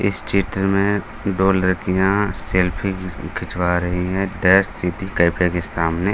इस चित्र में दो लडकियाँ सेल्फी घी खिंचवा रहीं हैं दै सिटी कैफ़े के सामने।